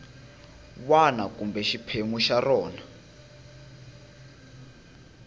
wana kumbe xiphemu xa rona